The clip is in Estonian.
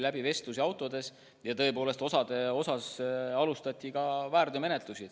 Nendega vesteldi autodes ja tõepoolest osa suhtes alustati ka väärteomenetlust.